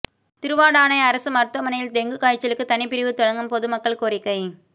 திருவாடானை அரசு மருத்துவமனையில் டெங்கு காய்சலுக்கு தனி பிரிவு தொடங்க பொதுமக்கள் கோரிக்கை